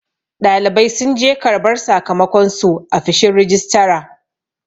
ɗalibai sun je karbar sakamakonsu a fishin rijistara